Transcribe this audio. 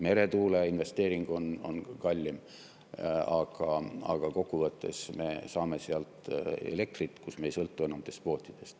Meretuuleinvesteering on kallim, aga kokku võttes me saame sealt elektrit, mille puhul me ei sõltu enam nendest despootidest.